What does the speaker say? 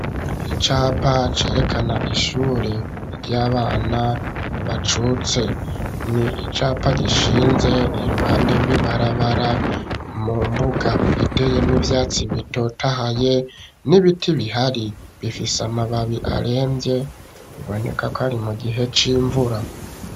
Icapa cerekana ishure ry'abana bacutse n'icapa gishinze iruhande rw'ibarabara mu mbuga iteyemwo ivyatsi bitotahaye n'ibiti bihari bifise amababi aremvye ibonekako ari mu gihe c'imvura.